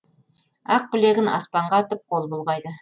ақ білегін аспанға атып қол бұлғайды